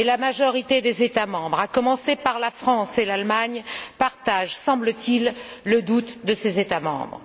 Mais la majorité des États membres, à commencer par la France et l'Allemagne, partagent, semble t il, le doute de ces États membres.